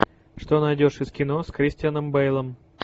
что найдешь из кино с кристианом бэйлом